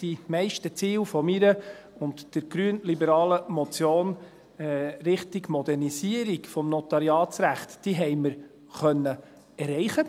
Die meisten Ziele meiner und der grünliberalen Motion Richtung Modernisierung des Notariatsrechts konnten wir erreichen.